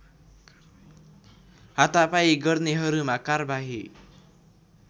हातापाई गर्नेहरूमा कार्बाही